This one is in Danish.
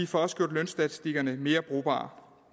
får også gjort lønstatistikkerne mere brugbare